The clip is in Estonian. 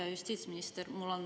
Hea justiitsminister!